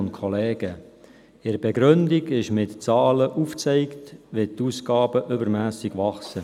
In der Begründung wird mit Zahlen aufgezeigt, wo die Ausgaben übermässig wachsen.